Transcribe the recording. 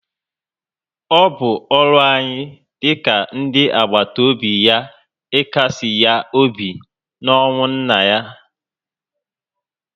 O bụ ọrụ anyị dị ka ndị àgbàtà óbị ya ikasi ha obi na ọnwụ nna ha